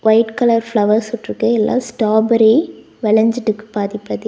White colour flowers உட்ருக்கு எல்லா strawberry வெளஞ்சிட்டுக்கு பாதிபாதியா.